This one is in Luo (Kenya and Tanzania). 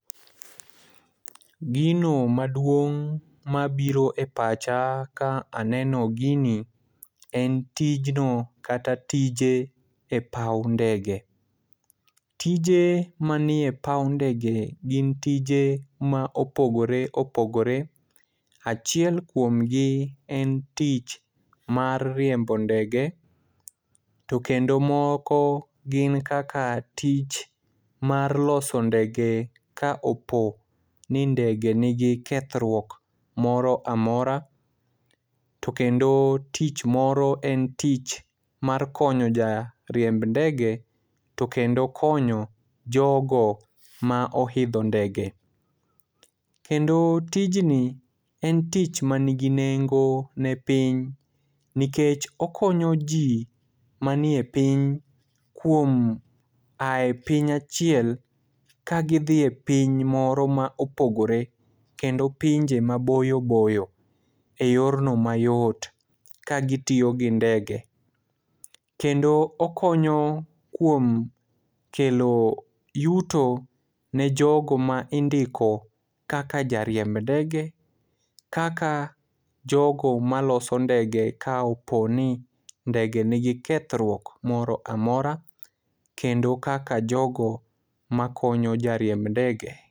Gino maduong' mabiro e pachaka aneno gini en tijno kata tije e paw ndege. Tije manie paw ndege gin tije ma opogore opogore. Achiel kuomgi en tich mar riembo ndege, to kendo moko gin kaka tich mar loso ndege ka opo ni ndege nigi kethruok moro amora, to kendo tich moro en tich mar konyo jariemb ndege to kendo konyo jogo ma oidho ndege. To kendo tijni en tich manigi nengo e piny nikech okonyo ji manie piny kuom aye piny achiel ka gidhi e piny moro ma opogore kendo pinje maboyo boyo e yorno mayot ka gitiyo gi ndege. Kendo okonyo kuom kelo yuto ne jogo ma indiko kaka jariemb ndege, kaka jogo maloso ndege ka opo ni ndege nigi kethruok moro amora kendo kaka jogo makonyo jariemb ndege.